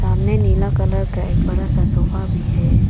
सामने नीला कलर का एक बड़ा सा सोफा भी है।